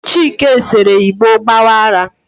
chike sere igbo gbawa ara